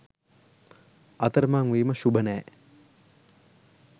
අතරමං වීම ශුභ නෑ.